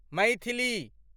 Maithili